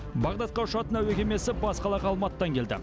бағдадқа ұшатын әуе кемесі бас қалаға алматыдан келді